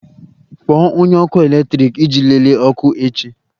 Kpọọ onye ọkụ eletrik iji lelee ọkụ echi!